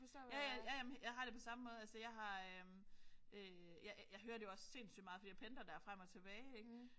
Ja ja ja ja men jeg har det på samme måde. Altså jeg har øh jeg hører det jo også sindssygt meget fordi jeg pendler der frem og tilbage ik